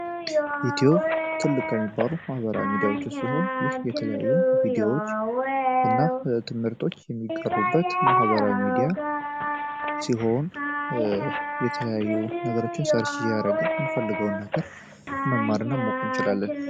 ኢትዮ ትልቅ የሚባሉ ማህበራዊ ሚዲያዎች ሲሆን ይህ የተለያዩ ቪዲዮዎች እና ትምህርቶች የሚቀሩበት ማህበራዊ ሚዲያ ሲሆን የተለያዩ ነገሮችን ፈልገውን ነገር ማወቅ እንችላለን